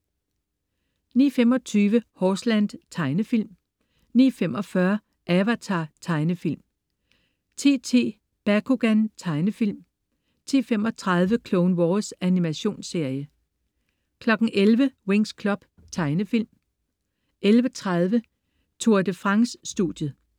09.25 Horseland. Tegnefilm 09.45 Avatar. Tegnefilm 10.10 Bakugan. Tegnefilm 10.35 Clone Wars. Animationsserie 11.00 Winx Club. Tegnefilm 11.30 Tour de France: Studiet